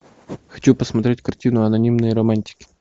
хочу посмотреть картину анонимные романтики